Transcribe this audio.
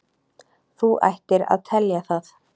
Þú ættir að telja það.